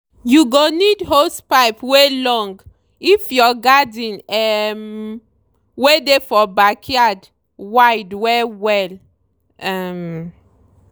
you go need hosepipe wey long if your garden um wey dey for backyard wide well-well. um